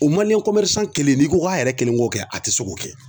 O kelen n'i ko k'a yɛrɛ kelen k'o kɛ a tɛ se k'o kɛ